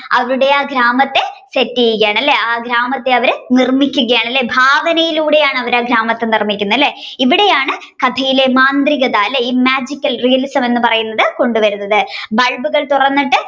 അവിടെ ആ ഗ്രാമത്തെ set ചെയ്യുകയാണ് അല്ലെ ആ ഗ്രാമത്തെ അവർ നിർമിക്കുകയാണല്ലേ ഭാവനയിലൂടെയാണ് അവർ ആ ഗ്രാമത്തെ നിർമിക്കുന്നത് അല്ലെ ഇവിടെയാണ് കഥയിലെ മാന്ത്രിയാകത അല്ലെ ഈ Magical realism എന്ന് പറയുന്നത് കൊണ്ടുവരുന്നത് bulb ഒക്കെ തുറന്നിട്ട്